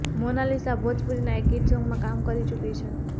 મોનાલિસા ભોજપુરીના એક હીટ સોંગમાં કામ કરી ચુકી છે